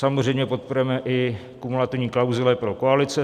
Samozřejmě podporujeme i kumulativní klauzule pro koalice.